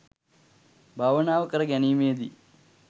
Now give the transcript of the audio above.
භාවනාව කර ගැනීමේදී